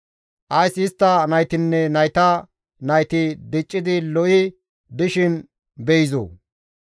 Ays istta naytinne nayta nayti diccidi lo7i dishin beyizoo?